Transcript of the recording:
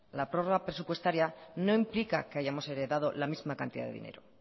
la prórroga presupuestaria no implica que hayamos heredado la misma cantidad de dinero